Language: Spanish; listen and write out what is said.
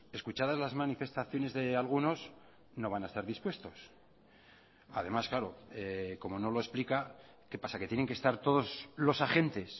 escuchadas las manifestaciones de algunos no van a estar dispuestos además claro como no lo explica qué pasa que tienen que estar todos los agentes